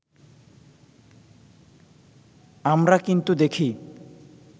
আমরা কিন্তু দেখি